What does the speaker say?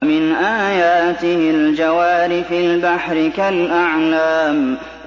وَمِنْ آيَاتِهِ الْجَوَارِ فِي الْبَحْرِ كَالْأَعْلَامِ